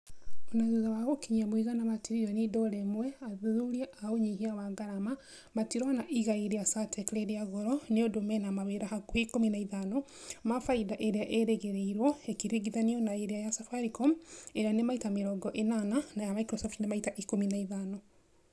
ona thutha wa gũkinyia mũigana wa tiririoni dora imwe athuthuria a ũnyihia wa ngarama matirona igai rĩa saartec rĩrĩa goro niũndũ mena mawĩra hakuhi ikumi na ithano ma faida ĩrĩa ĩrĩgĩrĩrwo ĩkĩringithanio na iria ya safaricom ĩrĩa ni maita mĩrongo ĩnana na ya microsoft ni maita ikumi na ithano